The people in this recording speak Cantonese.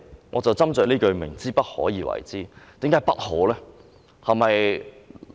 我就斟酌這句"不可為而為之"，為何不可呢？